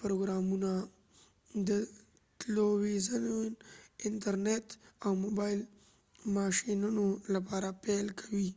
پروګرامونه د تلويزیون انټر نیټ او موبایل ماشينونو لپاره پیل کوي